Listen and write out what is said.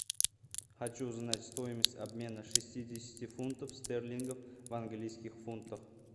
хочу знать стоимость обмена шестидесяти фунтов стерлингов в английских фунтах